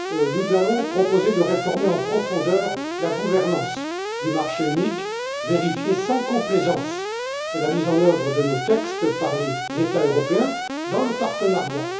Nous allons proposer de réformer en profondeur la gouvernance du marché unique, vérifier sans complaisance la mise en œuvre de nos textes par les États européens, dans le partenariat.